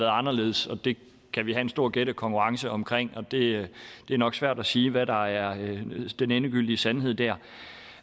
anderledes det kan vi have en stor gættekonkurrence om og det er nok svært at sige hvad der er den endegyldige sandhed der